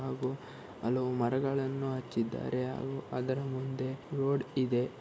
ಹಾಗೂ ಹಲವು ಮರಗಳನ್ನು ಹಚ್ಚಿದ್ದಾರೆ ಹಾಗೂ ಅದರ ಮುಂದೆ ರೋಡ್ ಇದೆ.